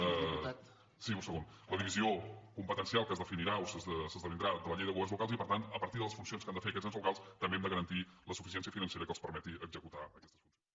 sí un segon divisió competencial que es defini·rà o s’esdevindrà de la llei de governs locals i per tant a partir de les funcions que han de fer aquests ens locals també hem de garantir la suficiència financera que els permeti executar aquestes funcions